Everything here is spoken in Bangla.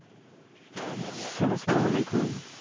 hello সালামু আলাইকুম